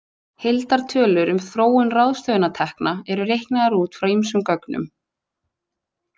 Heildartölur um þróun ráðstöfunartekna eru reiknaðar út frá ýmsum gögnum.